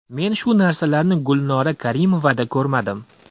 Men shu narsalarni Gulnora Karimovada ko‘rmadim.